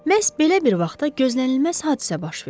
Məhz belə bir vaxtda gözlənilməz hadisə baş verdi.